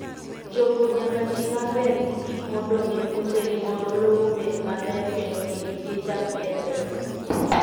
Jopur nyaka ti maber gi gik modong' e puothegi mondo lowo obed maber kendo kik gichak kethre.